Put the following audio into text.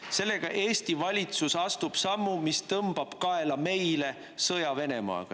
Sellega Eesti valitsus astub sammu, mis tõmbab kaela meile sõja Venemaaga.